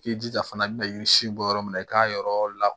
K'i jija fana bina yiri si bɔ yɔrɔ min na i k'a yɔrɔ la